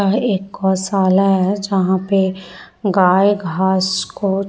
यहाँ एक गोशाला है जहाँ पे गाय घास को --